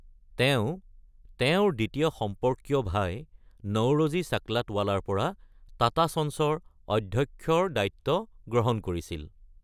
তেওঁ তেওঁৰ দ্বিতীয় সম্পৰ্কীয় ভাই নওৰোজী চাকলাটৱালাৰ পৰা টাটা চন্সৰ অধ্যক্ষৰ দায়িত্ব গ্ৰহণ কৰিছিল।